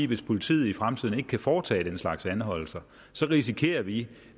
hvis politiet i fremtiden ikke kan foretage den slags anholdelser risikerer vi